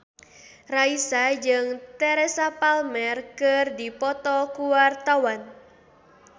Raisa jeung Teresa Palmer keur dipoto ku wartawan